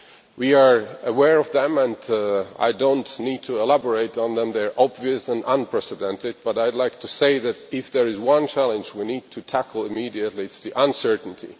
We are aware of them and I do not need to elaborate on them. They are obvious and unprecedented, but I would like to say that, if there is one challenge we need to tackle immediately, it is that of uncertainty.